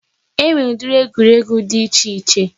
E nwere ụdịrị egwuregwu dị iche iche